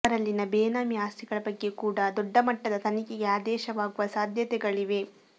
ಅವರಲ್ಲಿನ ಬೇನಾಮಿ ಆಸ್ತಿಗಳ ಬಗ್ಗೆ ಕೂಡಾ ದೊಡ್ಡ ಮಟ್ಟದ ತನಿಖೆಗೆ ಆದೇಶವಾಗುವ ಸಾಧ್ಯತೆಗಳಿವೆ